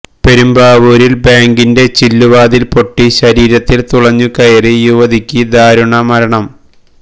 പെരുമ്പാവൂരില് ബാങ്കിന്റെ ചില്ലുവാതില് പൊട്ടി ശരീരത്തില് തുളച്ചു കയറി യുവതിക്ക് ദാരുണ മരണം